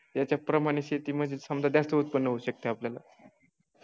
याच्या प्रमाणे शेती म्हणजेच समजा जास्त उत्पन्न होऊ शकत आपल्याला